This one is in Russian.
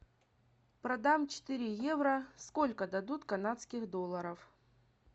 продам четыре евро сколько дадут канадских долларов